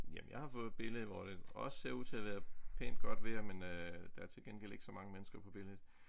Jamen jeg har fået et billede hvor det også ser ud til at være pænt godt vejr men der er til gengæld ikke så mange mennesker på billedet